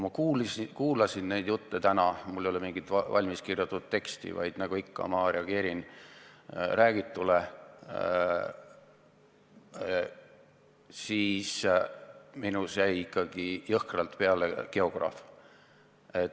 Mul ei ole mingit valmis kirjutatud teksti, vaid nagu ikka, ma reageerin räägitule, ja kui ma kuulasin täna neid jutte, siis minus jäi ikkagi jõhkralt peale geograaf.